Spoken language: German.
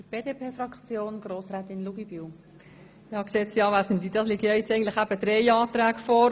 Eigentlich liegen hier drei Anträge vor.